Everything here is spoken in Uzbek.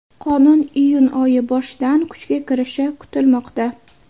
Qonun iyun oyi boshidan kuchga kirishi kutilmoqda.